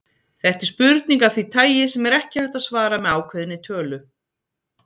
Þetta er spurning af því tagi sem er ekki hægt að svara með ákveðinni tölu.